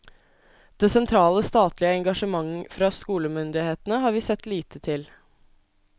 Det sentrale, statlige engasjement fra skolemyndighetene har vi sett lite til.